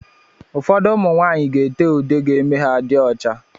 Ụfọdụ ụmụ nwanyị n'ete ude ga eme ha dị ọcha.